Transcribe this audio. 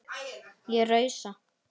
Ég rausa.